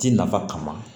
Ji nafa kama